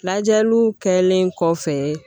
Lajɛliw kɛlen kɔfɛ